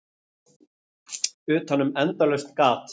Utanum endalaust gat.